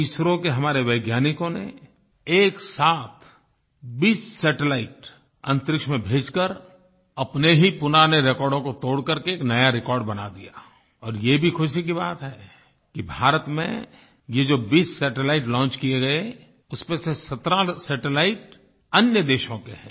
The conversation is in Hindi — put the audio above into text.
एसआरओ के हमारे वैज्ञानिकों ने एक साथ 20 सैटेलाइट अन्तरिक्ष में भेजकर अपने ही पुराने रेकॉर्डों को तोड़ करके एक नया रिकॉर्ड बना दिया और ये भी खुशी की बात है कि भारत में ये जो 20 सैटेलाइट लॉन्च किये गए उसमें से 17 सैटेलाइट अन्य देशों के हैं